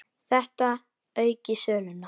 Þetta auki söluna.